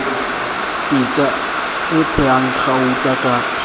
pitsa e phehang gauta ka